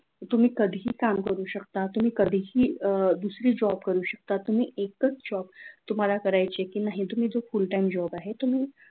तुम्ही कधी काम करू शकता तुम्ही कधीही दुसरी job करू शकता तुम्ही एकच job तुम्हाला करायचेय की नाही तुम्ही तो full time job आहे तुम्ही